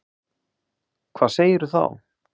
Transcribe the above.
Hvað segirðu þá?